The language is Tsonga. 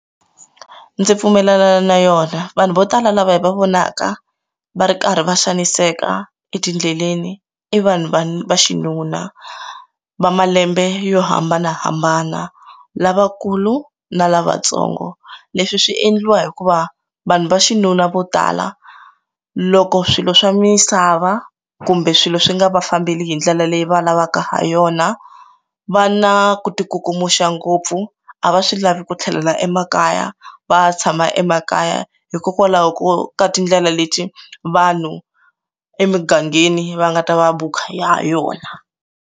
Ndzi pfumelelana na yona vanhu vo tala lava hi va vonaka va ri karhi va xaniseka etindleleni i vanhu vanhu va xinuna va malembe yo hambanahambana lavakulu na lavatsongo leswi swi endliwa hikuva vanhu va xinuna vo tala loko swilo swa misava kumbe swilo swi nga va fambile hi ndlela leyi va lavaka ha yona va na ku ti kukumuka ngopfu a va swi lavi ku tlhelela emakaya va tshama emakaya hikokwalaho ko ka tindlela leti vanhu emugangeni va nga ta va bukha ha yona.